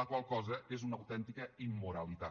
la qual cosa és una autèntica immoralitat